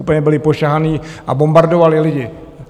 Úplně byli pošahaní a bombardovali lidi.